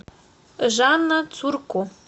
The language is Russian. жанна цурко